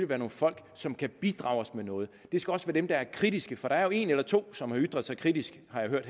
være nogle folk som kan bidrage med noget det skal også være dem der er kritiske for der er jo en eller to som har ytret sig kritisk har jeg hørt